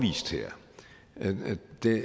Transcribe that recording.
det